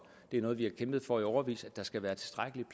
det er noget vi har kæmpet for i årevis nemlig at der skal være tilstrækkeligt